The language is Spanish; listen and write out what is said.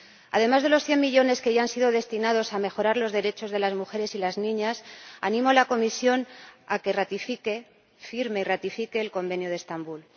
Además de los cien millones que ya han sido destinados a mejorar los derechos de las mujeres y de las niñas, animo a la Comisión a que firme y ratifique el Convenio de Estambul.